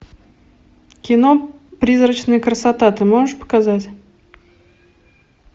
кино призрачная красота ты можешь показать